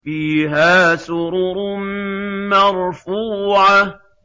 فِيهَا سُرُرٌ مَّرْفُوعَةٌ